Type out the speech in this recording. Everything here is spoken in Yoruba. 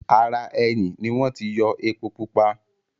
ara “ẹyìn” ni wọ́n ti yọ “epo-pupa”.